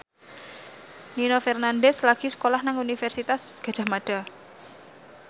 Nino Fernandez lagi sekolah nang Universitas Gadjah Mada